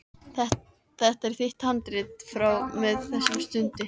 Þetta er þitt handrit frá og með þessari stundu.